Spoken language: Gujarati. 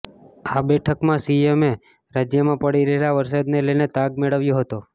આ બેઠકમાં સીએમે રાજ્યમાં પડી રહેલા વરસાદને લઇને તાગ મેળવ્યો હતો